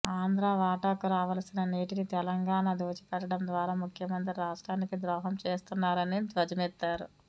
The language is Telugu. ఆంధ్రా వాటాకు రావాల్సిన నీటిని తెలంగాణకు దోచిపెట్టడం ద్వారా ముఖ్యమంత్రి రాష్ట్రానికి ద్రోహం చేస్తున్నారని ధ్వజమెత్తారు